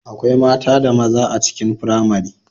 Akwai mata da maza a cikin firamare